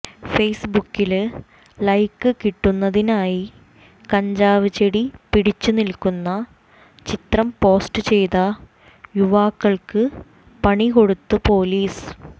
ഫേസ്ബുക്കില് ലൈക്ക് കിട്ടുന്നതിനായി കഞ്ചാവ് ചെടി പിടിച്ചുനില്ക്കുന്ന ചിത്രം പോസ്റ്റ് ചെയ്ത യുവാക്കള്ക്ക് പണി കൊടുത്ത് പോലീസ്